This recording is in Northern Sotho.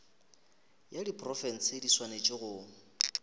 ya diprofense di swanetše go